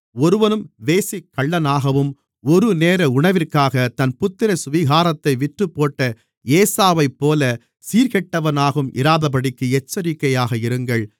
ஒருவனும் வேசிக்கள்ளனாகவும் ஒருநேர உணவிற்காக தன் புத்திரசுவிகாரத்தை விற்றுப்போட்ட ஏசாவைப்போலச் சீர்கெட்டவனாகவும் இராதபடிக்கு எச்சரிக்கையாக இருங்கள்